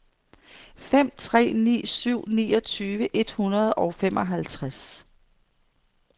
fem tre ni syv niogtyve et hundrede og femoghalvtreds